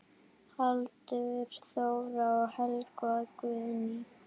Hildur Þóra og Helga Guðný.